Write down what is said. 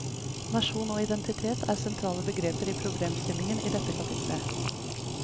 Nasjon og identitet er sentrale begreper i problemstillingen i dette kapittelet.